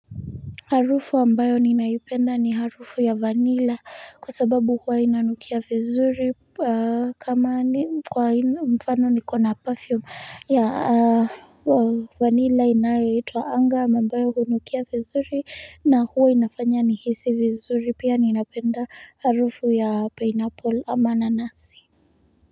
Harufu ambayo ninaipenda ni harufu ya vanilla kwa sababu huwa inanukia vizuri kama kwa mfano nikona perfume ya vanilla inayoitwa anga na ambayo kunukia vizuri na huwa inafanya nihisi vizuri pia ninapenda harufu ya pineapple ama nanasi.